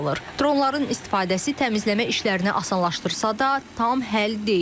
Dronların istifadəsi təmizləmə işlərini asanlaşdırsa da, tam həll deyil.